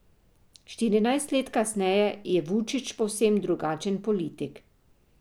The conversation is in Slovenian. Štirinajst let kasneje je Vučić povsem drugačen politik.